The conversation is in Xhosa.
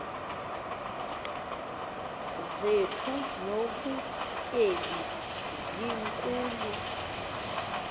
zethu nobutyebi zinkulu